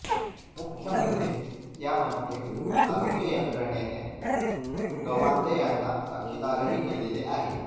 मुख्य म्हणजे त्यामध्ये आरोग्य यंत्रणेने गवांदे यांना साक्षीदारही केलेले आहे